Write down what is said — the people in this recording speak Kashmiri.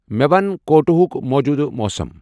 مے ونَ کوٹۄہُک موجودٕ موسم ۔